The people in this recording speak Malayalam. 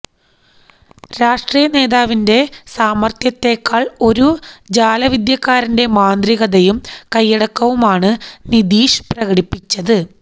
രാഷ്ട്രീയ നേതാവിന്റെ സാമർത്ഥ്യത്തെക്കാൾ ഒരു ജാലവിദ്യക്കാരന്റെ മാന്ത്രികതയും കയ്യടക്കവുമാണ് നിതീഷ് പ്രകടിപ്പിച്ചത്